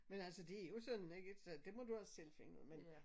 Men altså det er jo sådan ikke så det må du altså selv finde ud af men